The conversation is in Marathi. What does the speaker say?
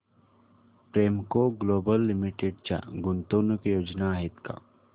प्रेमको ग्लोबल लिमिटेड च्या गुंतवणूक योजना आहेत का